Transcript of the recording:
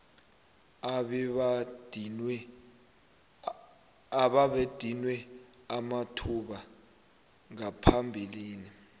abebadinywe amathuba ngaphambilini